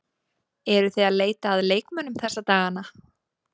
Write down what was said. Eruð þið að leita að leikmönnum þessa dagana?